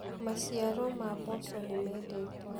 maciaro ma mboco nĩmendetwo